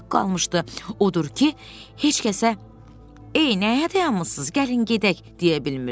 Odur ki, heç kəsə, “Ey, nəyə dayanmısınız? Gəlin gedək!” deyə bilmirdi.